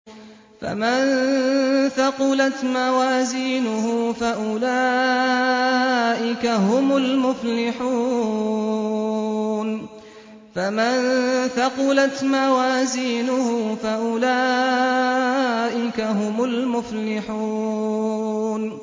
فَمَن ثَقُلَتْ مَوَازِينُهُ فَأُولَٰئِكَ هُمُ الْمُفْلِحُونَ